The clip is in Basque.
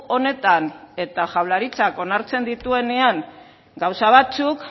honetan eta jaurlaritzak onartzen dituenean gauza batzuk